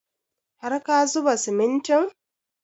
Har ka zuba simintin?